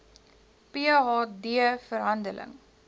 ph d verhandeling